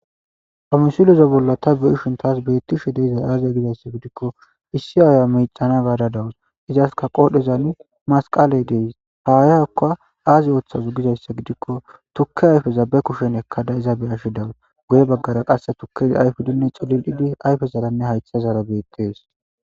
Ha musileza bolla ta beishun taas beettishe deeizay aaziya gidayssa gidikko issi aaya micana gaada dawus izaska qoodhezani masqale dees haayakka aazi ooththazo gizayssa gidikko tukke ayfe zabe kushen ekkada izabe ashi dawus goye baggara qasse tukkezi ayfudinne xolil7idi ayfe zalanne haytha zara beettees